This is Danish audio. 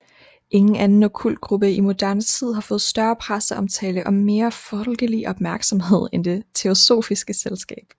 Ingen anden okkult gruppe i moderne tid har fået større presseomtale og mere folkelig opmærksomhed end Det Teosofiske Selskab